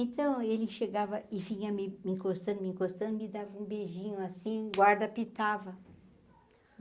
Então ele chegava e vinha me encostando, me encostando me dava um beijinho assim, guarda pitava.